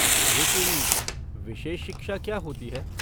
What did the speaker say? लेकिन विशेष शिक्षा क्या होती है?